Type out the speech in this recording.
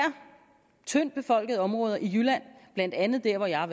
tyndtbefolkede områder i jylland blandt andet der hvor jeg